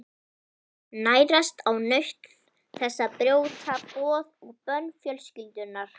Nærast á nautn þess að brjóta boð og bönn fjölskyldunnar.